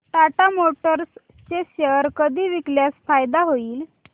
Tata Motors चे share कधी विकल्यास फायदा होईल